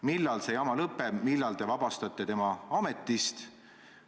Millal see jama lõpeb, millal te vabastate ta ametist?